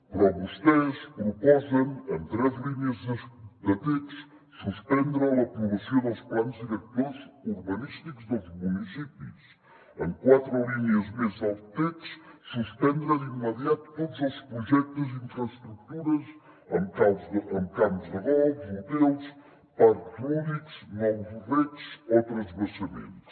però vostès proposen en tres línies de text suspendre l’aprovació dels plans directors urbanístics dels municipis en quatre línies més del text suspendre d’immediat tots els projectes i infraestructures amb camps de golf hotels parcs lúdics nous regs o transvasaments